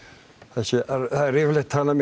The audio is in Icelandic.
þessi það er yfirleit talað